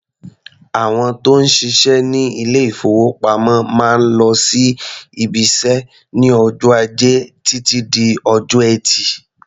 Àwọn tó ń ṣiṣẹ́ ní ilé-ìfowópamọ́ máa ń lọ sí ibiṣẹ́ ní ọjọ́ Ajẹ́ títí di ọjọ́ Ẹtì.